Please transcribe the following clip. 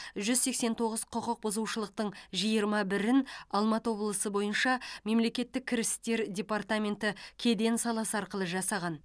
жүз сексен тоғыз құқық бұзушылықтың жиырма бірін алматы облысы бойынша мемлекеттік кірістер департаменті кеден саласы арқылы жасаған